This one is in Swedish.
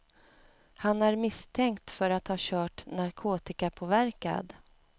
Han är misstänkt för att ha kört narkotikapåverkad.